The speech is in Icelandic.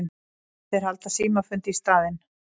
Þeir halda símafund í staðinn.